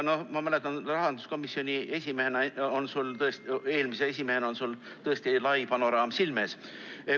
Rahanduskomisjoni eelmise esimehena on sul tõesti lai panoraam silme ees.